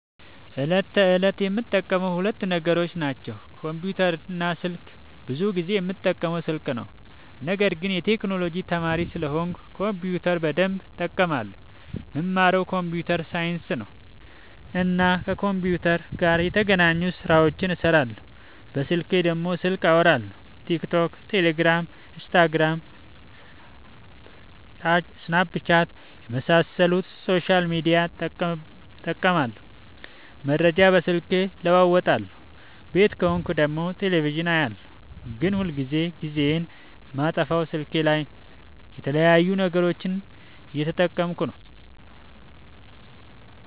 ዕለት ተዕለት የምጠቀመው ሁለት ነገሮች ናቸው። ኮምፑተር እና ስልክ። ብዙ ጊዜ የምጠቀመው ስልክ ነው፤ ነገርግን የቴክኖሎጂ ተማሪ ስለሆንኩ ኮምፒውተር በደንብ እጠቀማለሁ። የምማረው ኮምፒውተር ሳይንስ ነው እና ከኮምፒውተር ጋር የተገናኙ ስራዎችን እሰራለሁ። በስልኬ ደግሞ ስልክ አወራለሁ፣ ቲክቶክ፣ ቴሌግራም፣ ኢንስታግራም፣ ሰናፕቻት የመሳሰሉትን ሶሻል ሚዲያ እጠቀምበታለሁ። መረጃ በስልኬ እለዋወጣለሁ። ቤት ከሆንኩ ደግሞ ቴሌቪዥን አያለሁ። ግን ሁልጊዜ ጊዜዬን የማጠፋው ስልኬ ላይ የተለያዩ ነገሮችን እየተጠቀምኩ ነው።